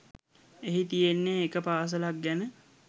එහි තියෙන්නේ එක පාසලක් ගැන